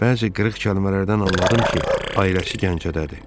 Bəzi qırıq kəlmələrdən anladım ki, ailəsi Gəncədədir.